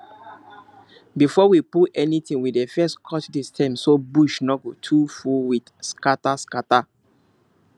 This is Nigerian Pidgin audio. before we pull anything we dey first cut the stem so bush no go too full with scatterscatter